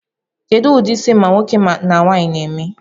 Kedu udi isi ma nwoke ma nwaanyi n'eme?